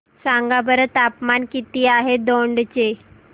सांगा बरं तापमान किती आहे दौंड चे